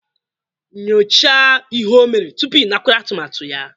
Nyochaa ihe o mere tupu ịnakwere atụmatụ ya